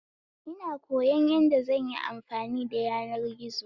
In koyon yadda zanyi amfani da yanar gizo